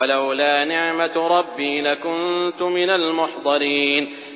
وَلَوْلَا نِعْمَةُ رَبِّي لَكُنتُ مِنَ الْمُحْضَرِينَ